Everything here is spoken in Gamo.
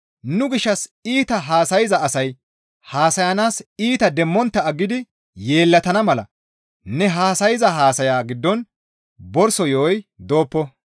Nu gishshas iita haasayza asay haasayanaas iita demmontta aggidi yeellatana mala ne haasayza haasaya giddon borso yo7oy dooppo.